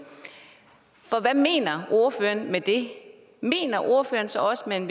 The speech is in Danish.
for hvad mener ordføreren med det mener ordføreren så også at man